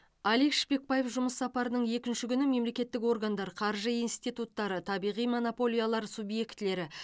алик шпекбаев жұмыс сапарының екінші күні мемлекеттік органдар қаржы институттары табиғи монополиялар субъектілері